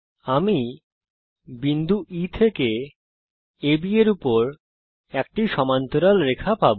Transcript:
আমি বিন্দু E থেকে AB এর উপর একটি সমান্তরাল রেখা পাবো